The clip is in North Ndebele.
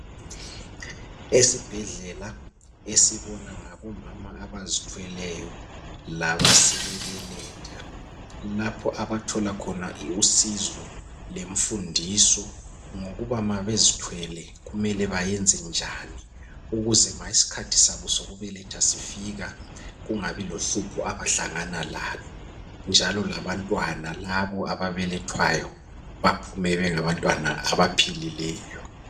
Esibhedlela esibona ngabomama abazithweleyo laba sebebeletha lapho abathole khona usizo lemfundiso ngokuba ma bezithwele kumele bayenzenjani ukuze ma isikhathi sabo sokubeletha sifika kungabi lohlupho abahlangana lalo njalo labantwana labo ababelethwayo baphume bengabantwana abaphilileyo.